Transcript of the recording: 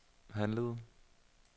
handlede